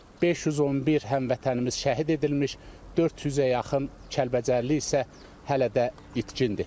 511 həmvətənimiz şəhid edilmiş, 400-ə yaxın Kəlbəcərli isə hələ də itkindir.